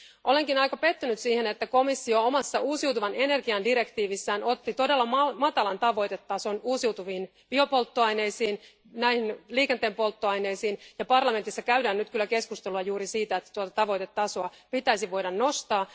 Olenkin aika pettynyt siihen, että komissio omassa uusiutuvan energian direktiivissään otti todella matalan tavoitetason uusiutuviin biopolttoaineisiin, näihin liikenteen polttoaineisiin, ja parlamentissa käydään nyt kyllä keskustelua juuri siitä, että tuota tavoitetasoa pitäisi voida nostaa.